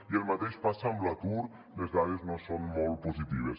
i el mateix passa amb l’atur les dades no són molt positives